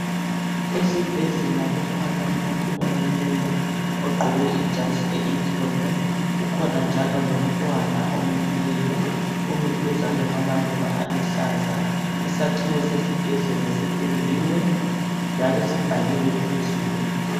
Esibhedlela kukhona omileyo ogqoke ijazi elimhlophe. Kukhona njalo lomntwana omi duzane kwamaluba. Isakhiwo sesibhedlela sipendiwe njalo sibhaliwe phezulu.